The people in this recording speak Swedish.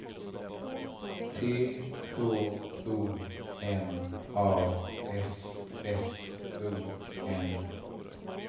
T H O M A S S O N